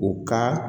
U ka